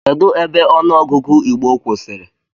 Kedụ ebe ọnụ ogụgụ igbo kwụsịrị?